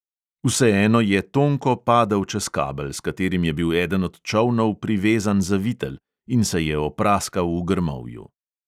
Vseeno je tonko padel čez kabel, s katerim je bil eden od čolnov privezan za vitel, in se je opraskal v grmovju.